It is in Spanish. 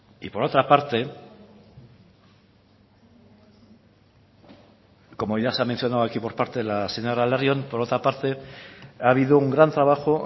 y por otra parte como ya se ha mencionado aquí por parte de la señora larrion por otra parte ha habido un gran trabajo